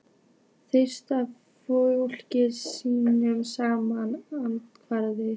Þrisvar fjórum sinnum sama handritið?